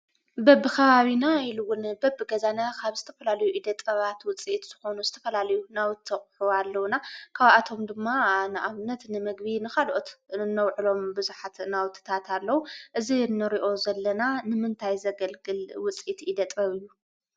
በብኸባቢና ኢሉውን በብገዛና ካብ ዝተፈላለዩ ኢደ ጥበባት ውፅኢት ዝኾኑ ዝተፈላለዩ ናውቲ ኣቑሑ ኣለዉና፡፡ ካብኣቶም ድማ ንኣብነት ንምግቢ፣ ንካልኦት ነውዕሎም ብዙሓት ናውትታት ኣለዉ፡፡ እዚ ንሪኦ ዘለና ንምንታይ ዘገልግል ውፅኢት ኢደ ጥበብ እዩ?